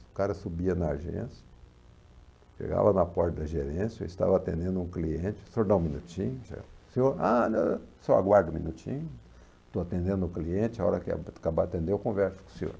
O cara subia na agência, chegava na porta da gerência, eu estava atendendo um cliente, o senhor dá um minutinho, o senhor, ah, não, só aguardo um minutinho, estou atendendo um cliente, a hora que acabar de atender eu converso com o senhor.